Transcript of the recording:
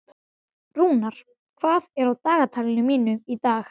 Rúnar, hvað er á dagatalinu mínu í dag?